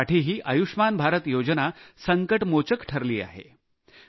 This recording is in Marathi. त्यांच्यासाठीही आयुष्मान भारत योजना संकटमोचक ठरली आहे